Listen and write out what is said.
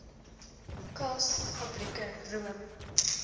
kaas fabrieke room